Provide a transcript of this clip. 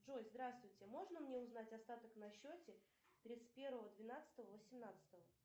джой здравствуйте можно мне узнать остаток на счете тридцать первого двенадцатого восемнадцатого